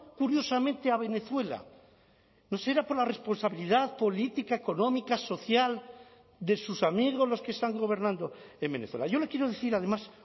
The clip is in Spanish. curiosamente a venezuela no será por la responsabilidad política económica social de sus amigos los que están gobernando en venezuela yo le quiero decir además